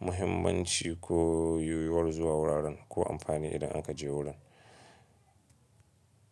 muhimmanci ko yiwuwar zuwa wuraren ko amfani idan an ka je wurin.